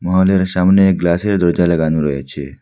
আমাদের সামনে গ্লাসের দরজা লাগানো রয়েছে।